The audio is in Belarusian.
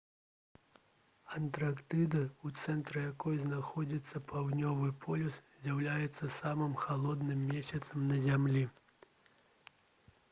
антарктыда у цэнтры якой знаходзіцца паўднёвы полюс з'яўляецца самым халодным месцам на зямлі